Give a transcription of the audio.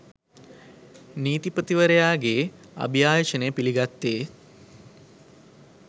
නීතිපතිවරයාගේ අභියාචනය පිළිගත්තේ